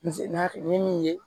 ni min ye